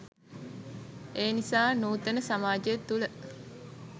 එනිසා නූතන සමාජය තුළ